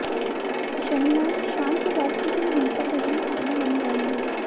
शनिवार शाम के बाद से कोई हिंसक घटना सामने नहीं आई है